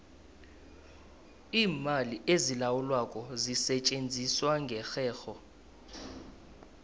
iimali ezilawulwako zisetjenziswa ngerherho